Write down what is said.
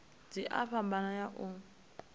dzi a fhambana u ya